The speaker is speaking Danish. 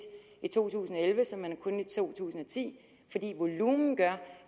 i to tusind og elleve som man har kunnet i to tusind og ti fordi volumen gør